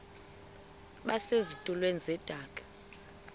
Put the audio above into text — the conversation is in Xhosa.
base zitulmeni zedaka